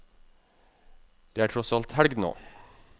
Det er tross alt helg nå.